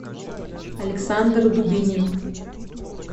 александр дубинин